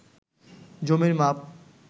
জমির মাপ